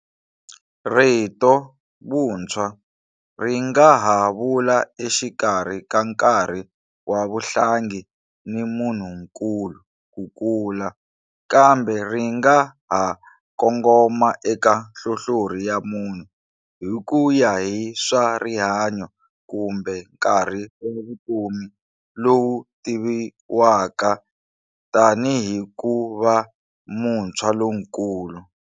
Rito, vuntshwa, ri nga ha vula exikarhi ka nkarhi wa vuhlangi ni munhu nkulu, ku kula, kambe ri nga ha nkongoma eka nhlohlorhi ya munhu, hi ku ya hi swa rihanyo kumbe nkarhi wa vutomi lowu tiviwaka tanihi ku va muntshwa lonkulu.